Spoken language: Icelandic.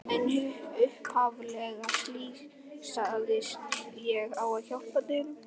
En upphaflega slysaðist ég á að hjálpa dýrum.